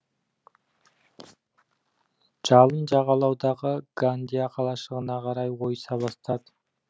жалын жағалаудағы гандия қалашығына қарай ойыса бастады